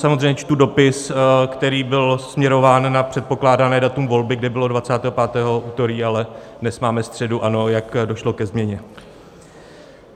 Samozřejmě čtu dopis, který byl směrován na předpokládané datum volby, kde bylo 25. - úterý, ale dnes máme středu, ano, jak došlo ke změně.